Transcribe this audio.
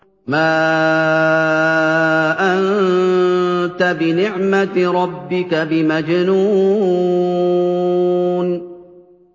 مَا أَنتَ بِنِعْمَةِ رَبِّكَ بِمَجْنُونٍ